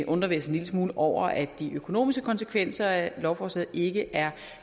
undrer vi os en lille smule over at de økonomiske konsekvenser af lovforslaget ikke er